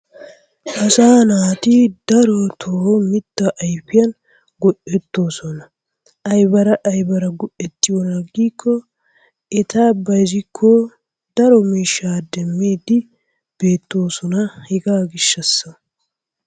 Asaa naati darotoo mitaa ayfiyan go'etoosona. ayabara aybara go'etiyoona giiko eta bayzzikko daro miishshaa demiidi beetoosona. hegaa gishaasa.